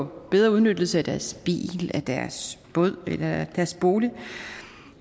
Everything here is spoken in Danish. en bedre udnyttelse af deres bil deres båd eller af deres bolig